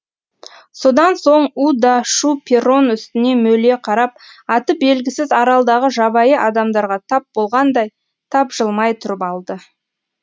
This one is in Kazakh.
содан соң у да шу перрон үстіне мөлие қарап аты белгісіз аралдағы жабайы адамдарға тап болғандай тапжылмай тұрып алды